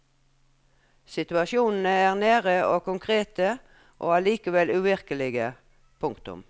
Situasjonene er nære og konkrete og allikevel uvirkelige. punktum